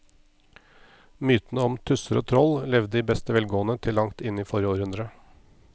Mytene om tusser og troll levde i beste velgående til langt inn i forrige århundre.